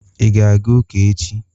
I ga-aga ụka echi?